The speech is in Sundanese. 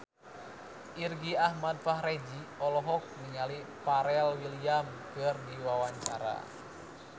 Irgi Ahmad Fahrezi olohok ningali Pharrell Williams keur diwawancara